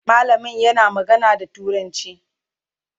mallamin yana magana da turanci